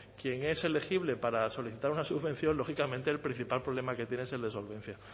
quien es elegible para solicitar una subvención lógicamente el principal problema que tiene es el de solvencia